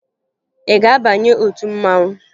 Ị ga-abanye otu mmanwụ?